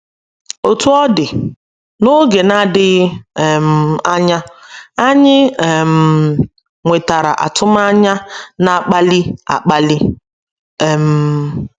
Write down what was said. Otú ọ dị, n’oge na - adịghị um anya, anyị um nwetara atụmanya na - akpali akpali. um